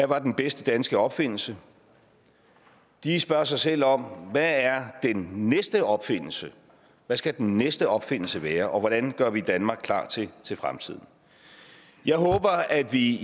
var den bedste danske opfindelse de spørger sig selv om hvad er den næste opfindelse hvad skal den næste opfindelse være og hvordan gør vi danmark klar til fremtiden jeg håber at vi